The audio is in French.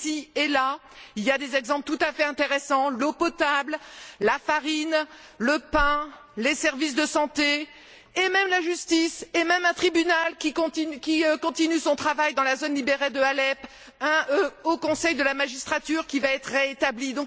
Ici et là, il y a des exemples tout à fait intéressants l'eau potable, la farine, le pain, les services de santé, la justice et même un tribunal qui continue son travail dans la zone libérée d'Alep, le Conseil de la magistrature qui va être rétabli... Il